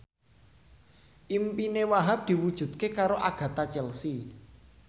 impine Wahhab diwujudke karo Agatha Chelsea